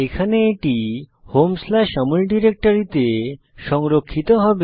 এখানে এটি homeআমল ডিরেক্টরিতে সংরক্ষিত হবে